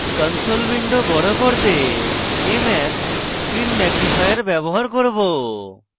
console window বড় করতে আমি kmag screen ম্যাগনিফায়ার ব্যবহার করব